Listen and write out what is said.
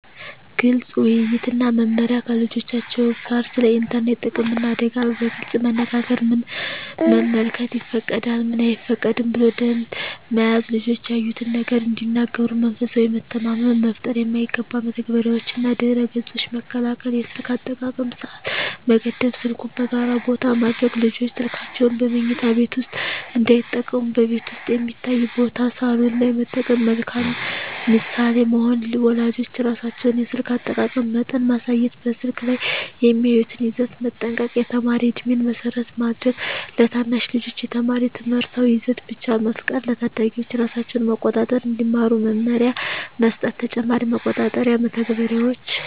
ግልፅ ውይይት እና መመሪያ ከልጆቻቸው ጋር ስለ ኢንተርኔት ጥቅምና አደጋ በግልፅ መነጋገር ምን መመልከት ይፈቀዳል፣ ምን አይፈቀድም ብሎ ደንብ መያዝ ልጆች ያዩትን ነገር እንዲነግሩ መንፈሳዊ መተማመን መፍጠር የማይገባ መተግበሪያዎችንና ድረ-ገፆችን መከልከል የስልክ አጠቃቀም ሰዓት መገደብ ስልኩን በጋራ ቦታ ማድረግ ልጆች ስልካቸውን በመኝታ ቤት ውስጥ እንዳይጠቀሙ በቤት ውስጥ የሚታይ ቦታ (ሳሎን) ላይ መጠቀም መልካም ምሳሌ መሆን ወላጆች ራሳቸው የስልክ አጠቃቀም መጠን ማሳየት በስልክ ላይ የሚያዩትን ይዘት መጠንቀቅ የተማሪ ዕድሜን መሰረት ማድረግ ለታናሽ ልጆች የተማሪ ትምህርታዊ ይዘት ብቻ መፍቀድ ለታዳጊዎች ራሳቸውን መቆጣጠር እንዲማሩ መመሪያ መስጠት ተጨማሪ መቆጣጠሪያ መተግበሪያዎች